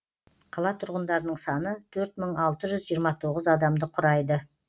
қала тұрғындарының саны төрт мың алты жүз жиырма тоғыз адамды құрайды